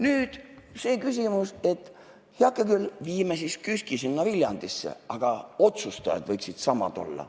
Nüüd, see küsimus, et heake küll, viime siis KÜSK-i sinna Viljandisse, aga otsustajad võiksid samad olla.